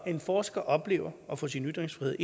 en forsker oplever at få sin ytringsfrihed